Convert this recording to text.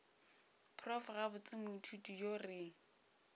prof gabotse moithuti yo re